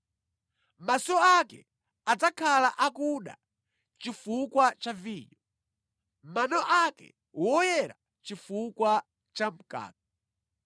Maso ake adzakhala akuda chifukwa cha vinyo, mano ake woyera chifukwa cha mkaka.